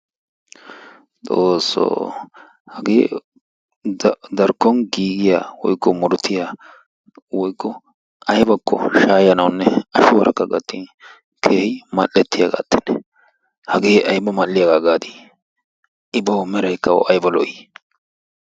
Xoossoo hagee darkkon giigiya woykko murutiya woykko aybakko shaayanawunne ashuwarakka gattin keehin mal"ettiyagattennee hagee ayba mal"iyagaa gaadii I bawu meraykka awu ayba lo"ii?